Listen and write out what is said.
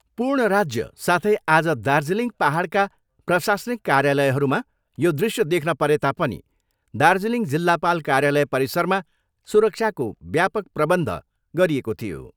पूर्ण राज्य साथै आज दार्जिलिङ पाहाडका प्रशासनिक कार्यालयहरूमा यो दृश्य देख्न परेता पनि दार्जिलिङ जिल्लापाल कार्यालय परिसरमा सुरक्षाको व्यापक प्रबन्ध गरिएको थियो।